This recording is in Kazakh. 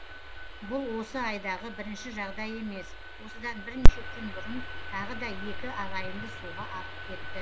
бұл осы айдағы бірінші жағдай емес осыдан бірнеше күн бұрын тағы да екі ағайынды суға ағып кетті